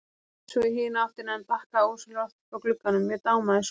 Leit svo í hina áttina en bakkaði ósjálfrátt frá glugganum, mér dámaði svo.